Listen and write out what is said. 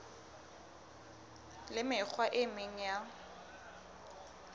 le mekgwa e meng ya